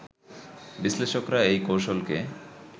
বিশ্লেষকরা এই কৌশলকে